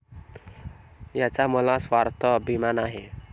याचा मला सार्थ अभिमान आहे.